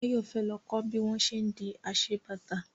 Báyọ̀ fẹ́ lọ kọ́ bí wọ́n ṣé ń di aṣebàtà